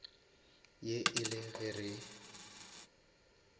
ye e le ge re